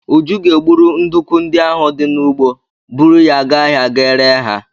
Uju ga-egburu nduku ndị ahụ di n'ugbo, buru ya gaa ahịa ga ree ha.